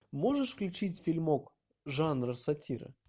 можешь включить фильмок жанра сатира